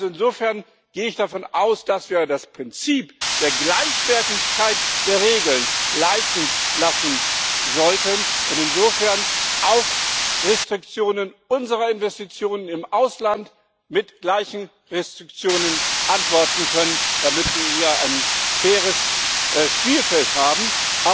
Insofern gehe ich davon aus, dass wir uns vom Prinzip der Gleichwertigkeit der Regeln leiten lassen sollten und insofern auf Restriktionen unserer Investitionen im Ausland mit gleichen Restriktionen antworten können, damit wir hier ein faires Spielfeld haben, ohne